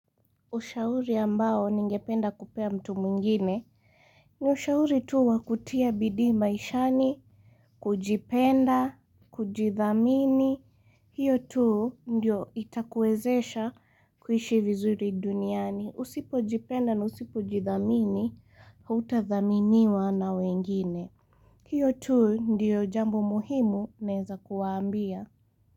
Ushauri ambao ningependa kupea mtu mwingine ni ushauri tu wakutia bidii maishani kujipenda kujithamini hiyo tu ndio itakuwezesha kuishi vizuri duniani Usipo jipenda na usipo jidhamini hautadhaminiwa na wengine hiyo tu ndio jambo muhimu naeza kuwaambia.